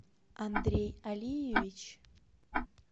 андрей алиевич